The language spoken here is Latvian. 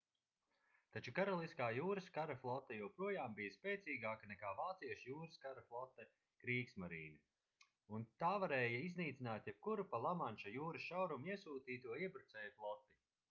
taču karaliskā jūras kara flote joprojām bija spēcīgāka nekā vāciešu jūras kara flote kriegsmarine” un tā varēja iznīcināt jebkuru pa lamanša jūras šaurumu iesūtīto iebrucēju floti